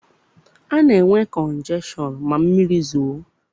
A na-enwe kọnjekshọn ma mmiri zoo.